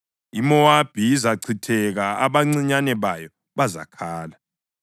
IMowabi izachitheka; abancinyane bayo bazakhala.